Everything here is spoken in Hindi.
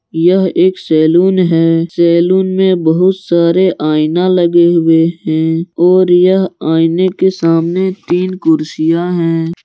यह एक सैलून है सैलून में बहुत सारे आईना लगे हुए हैं और यह आईने के सामने तीन कुर्सियां हैं।